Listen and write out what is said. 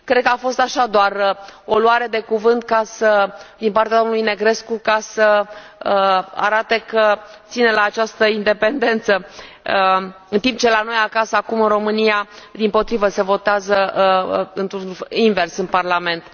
Cred că a fost așa, doar o luare de cuvânt din partea domnului Negrescu, ca să arate că ține la această independență, în timp ce la noi acasă, acum, în România, dimpotrivă, se votează invers în Parlament.